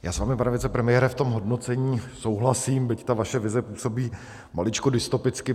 Já s vámi, pane vicepremiére, v tom hodnocení souhlasím, byť ta vaše vize působí maličko dystopicky.